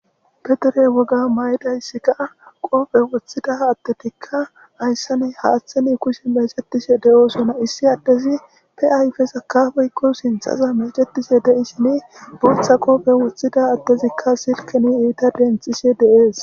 Ba dere woga mayidayssi kaa qoophe woththida attetikka hayssani haaththeni kushi meecetishe de7oosona issi addezi pe ayfe sakafeykko sinthaza meecetishe dei shin buutha qoophe wothida attezikka silkini iita dentxishe deees